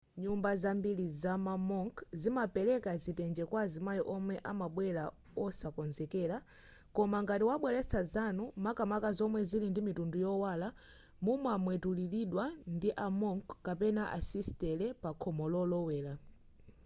nyumba zambiri zama monk zimapereka zitenje kwa amayi omwe amabwera osakonzekera koma ngati mwabweretsa zanu makamaka zomwe zili ndi mitundu yowala mumamwemwetulilidwa ndi a monk kapena asisitere pakhomo lolowera